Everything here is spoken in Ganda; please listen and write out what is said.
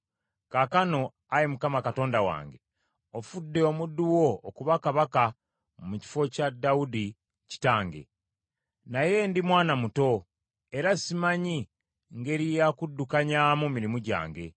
Kaakano, Ayi Mukama Katonda wange, ofudde omuddu wo okuba kabaka mu kifo kya Dawudi kitange. Naye ndi mwana muto era simanyi ngeri ya kuddukanyaamu mirimu gyange.